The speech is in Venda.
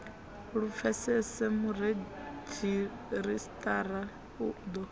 lu pfesese muredzhisitarara u ḓo